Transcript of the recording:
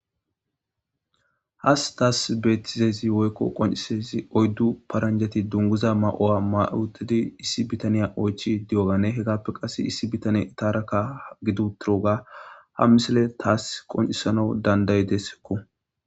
Has taas beettizezi woykko qoncisezi oyddu paranjati dunguza ma''owa mautidi issi bitaniya oychi di''ogane hegappe qass issi bitaniya itaaraka gidu tiroga ha misile taas qoncisana dandayidesekko.